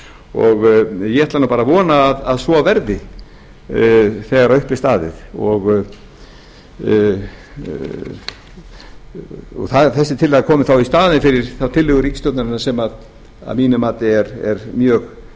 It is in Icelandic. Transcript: og ég ætla að vona að svo verði þegar upp er staðið og þessi tillaga komi þá í staðinn fyrir tillögu ríkisstjórnarinnar sem að mínu mati er mjög